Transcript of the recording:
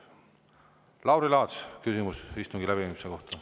Lauri Laats, küsimus istungi läbiviimise kohta.